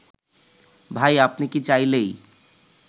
ভাই আপনি কি চাইলেই